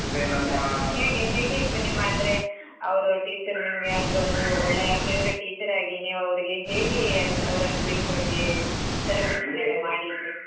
ಹೇಗೆ ಹೇಗಿತ್ತು ನಿಮ್ಮ ಅಂದ್ರೆ ಅವ್ರು teacher ನಿಮ್ಗೆ ಅಂದ್ರೆ ಒಂದು ಒಳ್ಳೆಯ favorite teacher ಆಗಿ ನೀವ್ ಅವ್ರಿಗೆ ಹೇಗೆಯೆಂದು ಅವರನ್ನು ಬೀಳ್ಕೊಡುಗೆ celebration ಮಾಡಿದ್ರಿ .